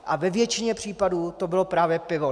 A ve většině případů to bylo právě pivo.